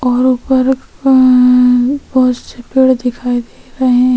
और ऊपर अअअ ए बहुत से पेड़ दिखाई दे रहै है।